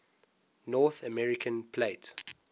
north american plate